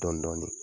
Dɔɔnin dɔɔnin